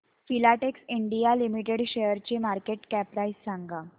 Filatex India limited शेअरची market cap price सांगा